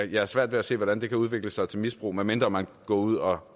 jeg har svært ved at se hvordan det kan udvikle sig til misbrug medmindre man går ud og